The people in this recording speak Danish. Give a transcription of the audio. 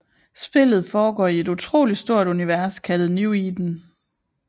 Spillet foregår i et utroligt stort univers kaldet New Eden